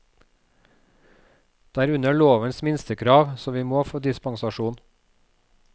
Det er under lovens minstekrav, så vi må få dispensasjon.